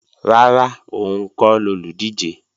Rárá, òun kọ́ lolùdíje